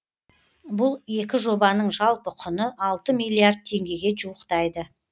бұл екі жобаның жалпы құны алты миллиард теңгеге жуықтайды